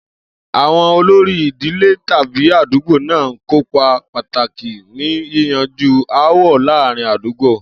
Àwo̩n olórí ìdílé tàbí àdúgbò náà ń kópa pàtàkì ní yíyanjú aáwò̩ láàárín àdúgbò